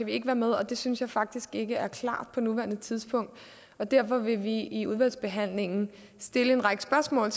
vi ikke være med og det synes jeg faktisk ikke er klart på nuværende tidspunkt derfor vil vi i udvalgsbehandlingen stille en række spørgsmål